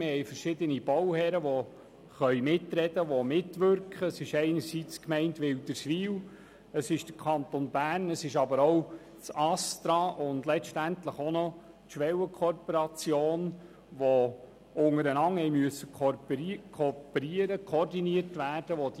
Einerseits sprechen und wirken verschiedene Bauherren mit: die Gemeinde Wilderswil, der Kanton Bern, das Bundesamt für Strassen (ASTRA) und letztlich auch noch die Schwellenkorporationen, welche die Planung gemeinsam vorantreiben müssen und die untereinander koordiniert werden mussten.